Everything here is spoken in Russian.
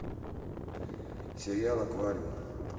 сериал аквариум